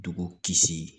Dugu kisi